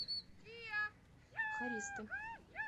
хористы